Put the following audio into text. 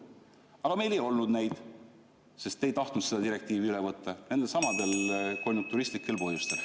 Aga meil ei olnud neid, sest te ei tahtnud seda direktiivi üle võtta nendelsamadel konjunkturistlikel põhjustel.